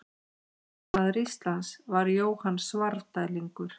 Hæsti maður Íslands var Jóhann Svarfdælingur.